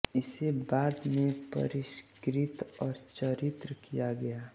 इसे बाद में परिष्कृत और चित्रित किया गया